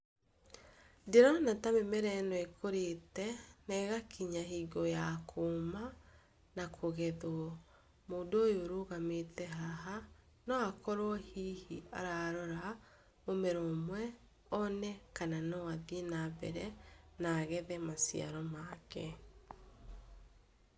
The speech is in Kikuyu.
Ndĩrona ta mĩmera ĩno ĩkũrĩte ĩgakinya hingo ya kũmaa na kũgethwo, mũndũ ũyũ ũrũgamĩte haha, no akorwo hihi ararora mĩmera ũmwe, one kana no athiĩ nambere na agethe maciaro make.